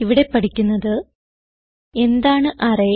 ഇവിടെ പഠിക്കുന്നത് എന്താണ് അറേ